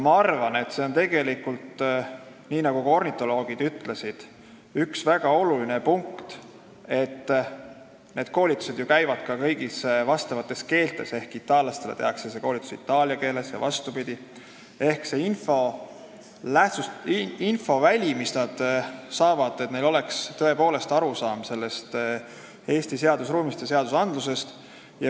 Ma arvan, nagu ka ornitoloogid ütlesid, et üks väga olulisi punkte on see, et need koolitused hakkavad ju toimuma kõigis vastavates keeltes ehk itaallastele tehakse see koolitus itaalia keeles jne, et neil inimestel tekiks tõepoolest arusaam Eesti seadusruumist.